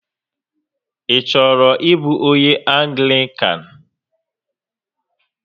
Ị chọrọ ịbụ onyé Anglịkan?